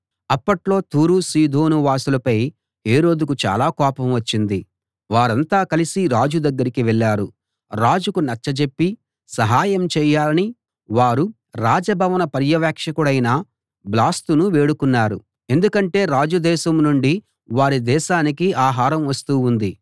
అప్పట్లో తూరు సీదోను వాసులపై హేరోదుకు చాలా కోపం వచ్చింది వారంతా కలిసి రాజు దగ్గరకి వెళ్ళారు రాజుకు నచ్చజెప్పి సహాయం చేయాలని వారు రాజభవన పర్యవేక్షకుడైన బ్లాస్తును వేడుకున్నారు ఎందుకంటే రాజు దేశం నుండి వారి దేశానికి ఆహారం వస్తూ ఉంది